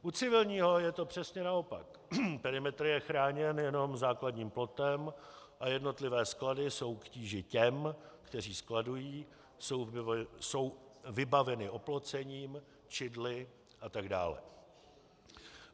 U civilního je to přesně naopak, perimetr je chráněn jenom základním plotem a jednotlivé sklady jsou k tíži těm, kteří skladují, jsou vybaveny oplocením, čidly a tak dále.